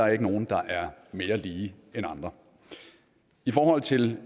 er ikke nogen der er mere lige end andre i forhold til